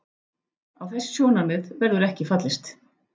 Á þessi sjónarmið verður ekki fallist.